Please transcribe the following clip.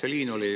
Aitäh!